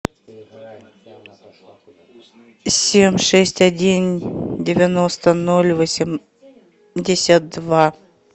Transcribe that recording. семь шесть один девяносто ноль восемьдесят два